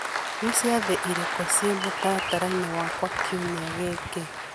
nĩ ciathĩ irĩkũ ciĩ mũtaratara-inĩ wakwa kiumia gĩkĩ